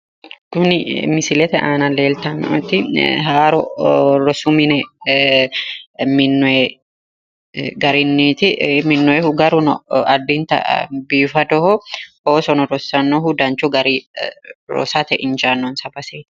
Kuni misilete aana leeltanno"eti haaro rosu mine minnoye garinniiti minnoyeehu garuno addinta biifadoho oosono rossannohu danchu gari rosate injaannonsa baseeti